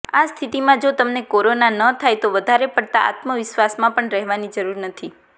આ સ્થિતિમાં જો તમને કોરોના ન થાય તો વધારે પડતાં આત્મવિશ્વાસમાં પણ રહેવાની જરૂર નથી